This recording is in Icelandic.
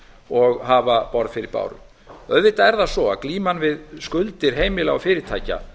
og hafa borð fyrir báru auðvitað er það svo að glíman við skuldir heimila og fyrirtækja